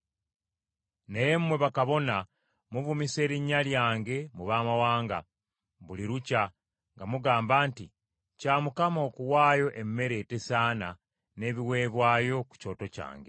“Naye mmwe bakabona muvumisa erinnya lyange mu baamawanga buli lukya nga mugamba nti kya Mukama okuwaayo emmere etesaana n’ebiweebwayo ku kyoto kyange.